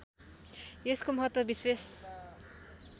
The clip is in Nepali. यसको महत्त्व विशेष